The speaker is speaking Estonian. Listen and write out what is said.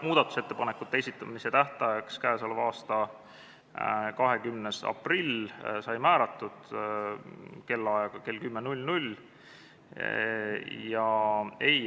Muudatusettepanekute esitamise tähtajaks sai määratud 20. aprill kell 10.